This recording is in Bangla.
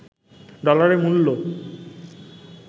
ডলারের মূল্য